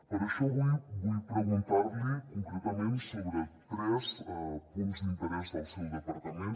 per això avui vull preguntar li concretament sobre tres punts d’interès del seu departament